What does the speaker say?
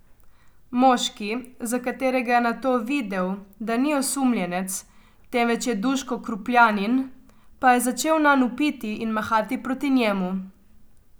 Moški, za katerega je nato videl, da ni osumljenec, temveč je Duško Krupljanin, pa je začel nanj vpiti in mahati proti njemu.